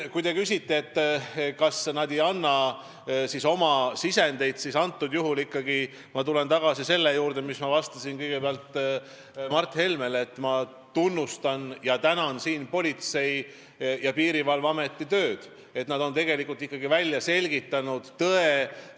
Kui te küsite, kas nad ei anna sisendit, siis ma tulen tagasi selle juurde, mis ma ütlesin vastuses Mart Helmele, et ma tunnustan Politsei- ja Piirivalveameti tööd ja tänan neid, et nad on ikkagi välja selgitanud tõe.